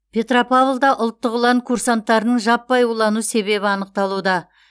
петропавлда ұлттық ұлан курсанттарының жаппай улану себебі анықталуда